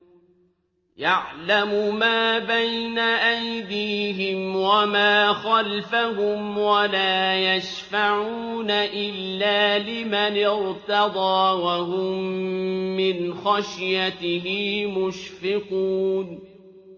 يَعْلَمُ مَا بَيْنَ أَيْدِيهِمْ وَمَا خَلْفَهُمْ وَلَا يَشْفَعُونَ إِلَّا لِمَنِ ارْتَضَىٰ وَهُم مِّنْ خَشْيَتِهِ مُشْفِقُونَ